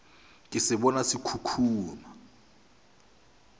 ka se bona se khukhuna